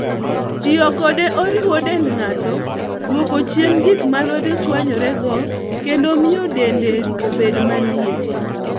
Tiyo kode oriwo rito dend ng'ato, duoko chien gik ma lwete chwanyorego, kendo miyo dende obed maliet.